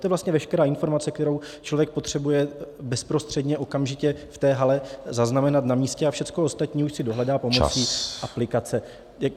To je vlastně veškerá informace, kterou člověk potřebuje bezprostředně okamžitě v té hale zaznamenat na místě, a všechno ostatní už si dohledá pomocí aplikace.